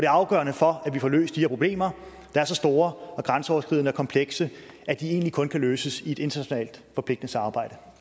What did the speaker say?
afgørende for at vi får løst de her problemer der er så store og grænseoverskridende og komplekse at de egentlig kun kan løses i et internationalt forpligtende samarbejde